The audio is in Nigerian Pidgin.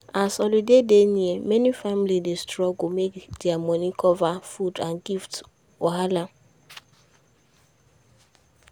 as holiday dey near many families dey struggle make their money cover food and gift wahala.